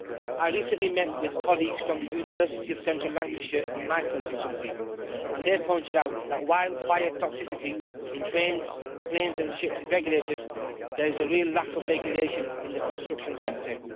I recently met with colleagues from the University of Central Lancashire in my constituency, and they pointed out that while fire toxicity in trains, planes and ships is regulated, there is a real lack of regulation in the construction sector.